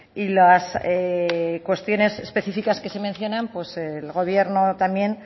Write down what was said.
y las cuestiones específicas que se mencionan el gobierno también